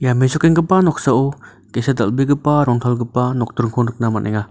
ia mesokenggipa noksao ge·sa dal·begipa rongtalgipa nokdringko nikna man·enga.